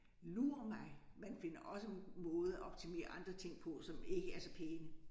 Lur mig man finder også måder at optimere andre ting på som ikke er så pæne